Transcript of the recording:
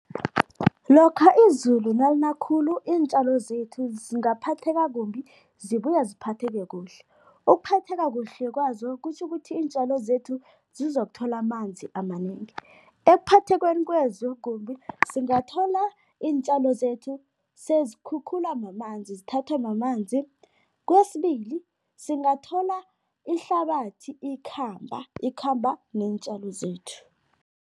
Lokha izulu nalina khulu, iintjalo zethu zingaphatheka kumbi, zibuye ziphatheke kuhle. Ukuphatheka kuhle kwazo, kutjho ukuthi iintjalo zethu zizokuthola amanzi amanengi. Ekuphathekweni kwazo kumbi, singathola iintjalo zethu sezikhukhulwa mamanzi, zithathwa mamanzi. Kwesibili, singathola ihlabathi ikhamba, ikhamba neentjalo zethu.